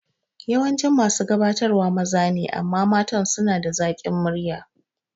Yawancin masu gabatarwa maza ne amma matan suna da zakin murya